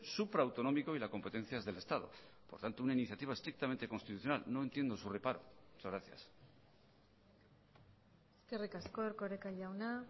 supra autonómico y la competencia es del estado por tanto una iniciativa estrictamente constitucional no entiendo su reparo muchas gracias eskerrik asko erkoreka jauna